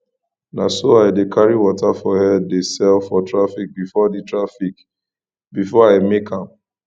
na so i dey carry water for head dey sell for traffic before for traffic before i make am